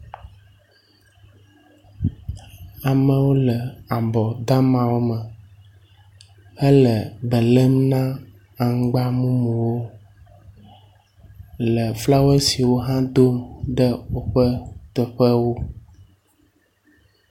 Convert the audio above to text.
Amewo le abɔ damawo me hele be lém na aŋgba mumuwo le flawɔesiwo hã dom ɖe woƒe teƒewo.